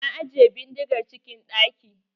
Na ajiye bindigar cikin ɗaki.